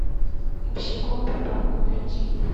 босиком по парку найти